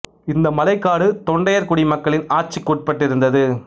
இந்த மலைக் காடு தொண்டையர் குடி மக்களின் ஆட்சிக்கு உட்பட்டிருந்தது